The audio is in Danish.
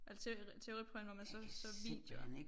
Eller teoriprøven hvor man så så videoer